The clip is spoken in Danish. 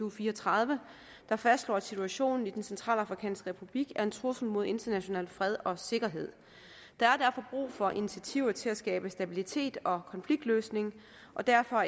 og fire og tredive der fastslår at situationen i den centralafrikanske republik er en trussel mod international fred og sikkerhed der er derfor brug for initiativer til at skabe stabilitet og konfliktløsning og derfor